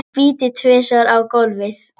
Spýti tvisvar á gólfið.